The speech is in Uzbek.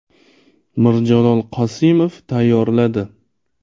Mirjalol Qosimov tayyorladi .